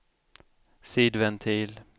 sidventil